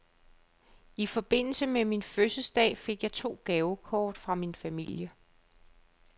I forbindelse med min fødselsdag fik jeg to gavekort fra min familie.